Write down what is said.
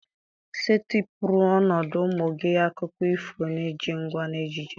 Setịpụrụ ọnọdụ ụmụ gị akụkọ ifo na-eji ngwa na ejiji.